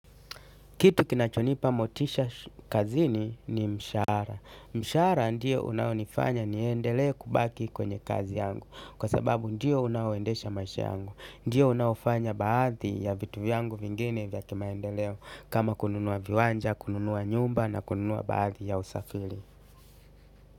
Kitu kinachonipa motisha kazini ni mshahara mshahara ndiyo unaonifanya niendelee kubaki kwenye kazi yangu. Kwa sababu ndiyo unaoendesha maisha yangu. Ndiyo unaofanya baadhi ya vitu yangu vingine vya kimaendeleo. Kama kununua viwanja, kununua nyumba na kununua baadhi ya usafiri.